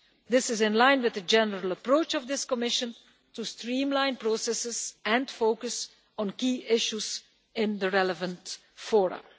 This is in line with the general approach of this Commission to streamline processes and focus on key issues in the relevant fora.